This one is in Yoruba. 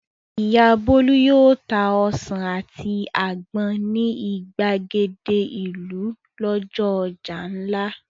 Ìyá Bólú yóò ta ọsàn àti àgbọn ní ìgbàgede ìlú lọ́jọ́ ọjà ńlá.